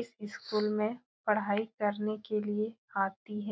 इस स्कूल में पढ़ाई करने के लिए आती है।